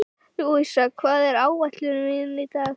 Louisa, hvað er á áætluninni minni í dag?